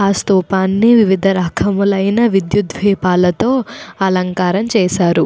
ఆ స్థూపాన్ని వివిధ రకములైన విద్యుత్ ద్వీపాలతో అలంకారం చేశారు.